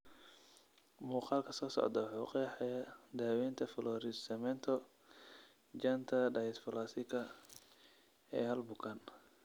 Maqaalka soo socdaa wuxuu qeexayaa daaweynta florid cemento janta dysplasika ee hal bukaan.